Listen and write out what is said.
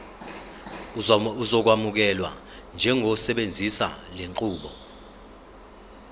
uzokwamukelwa njengosebenzisa lenqubo